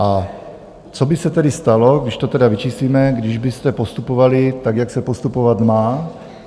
A co by se tedy stalo, když to tedy vyčíslíme, když byste postupovali tak, jak se postupovat má?